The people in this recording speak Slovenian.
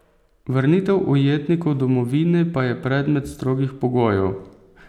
Vrnitev ujetnikov domovine pa je predmet strogih pogojev.